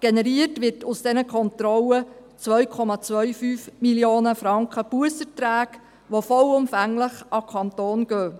Generiert werden aus diesen Kontrollen 2,25 Mio. Franken an Busserträgen, die vollumfänglich an den Kanton gehen.